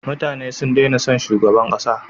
Mutane sun dena son shugaban kasa